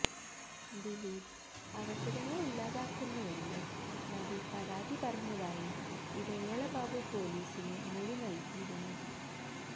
ദിലീപ് അവസരങ്ങള് ഇല്ലാതാക്കുന്നുവെന്ന് നടി പരാതി പറഞ്ഞതായി ഇടവേള ബാബു പൊലീസിനു മൊഴി നല്കിയിരുന്നു